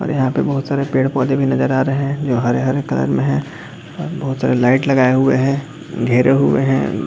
और यहां पे बहुत सारे पेड़ पौधे भी नजर आ रहे है जो हरे - हरे कलर में है और बहुत सारी लाइट लगाए हुए है घेरे हुए है।